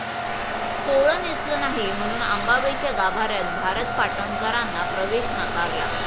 सोवळं नेसलं नाही म्हणून अंबाबाईच्या गाभाऱ्यात भारत पाटणकरांना प्रवेश नाकारला